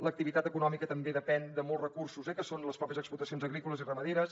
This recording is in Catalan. l’activitat econòmica també depèn de molts recursos eh que són les pròpies explotacions agrícoles i ramaderes